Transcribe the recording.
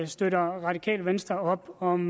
støtter radikale venstre op om